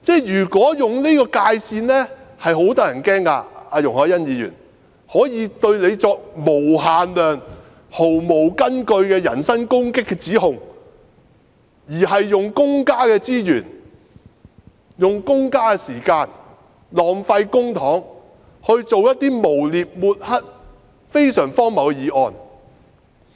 容海恩議員，有人可以對你作無限量、毫無根據的人身攻擊般的指控，並浪費公家資源、公家時間和公帑來提出一些誣衊、抹黑、非常荒謬的議案。